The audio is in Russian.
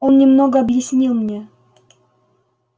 он немного объяснил мне